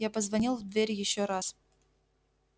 я позвонил в дверь ещё раз